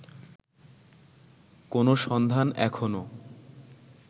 কোনো সন্ধান এখনো